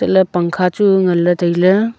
ley pangkha chu nganley tailey.